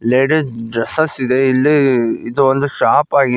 lady dresses ಇದೆ ಇಲ್ಲಿ ಇದೊಂದು ಶಾಪ್ ಆಗಿ--